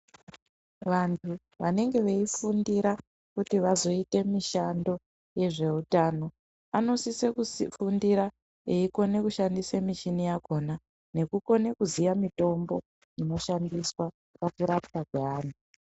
Vantu vanenge veifundira kuti vazoita mishando Vanosisa kufundira veiona kushandisa michini yachona veikona kuziya mitombo inoshandiswa pakurapwa kwevanhu.